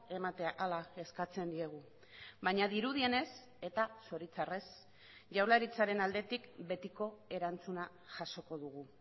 ematea hala eskatzen diegu baina dirudienez eta zoritxarrez jaurlaritzaren aldetik betiko erantzuna jasoko dugu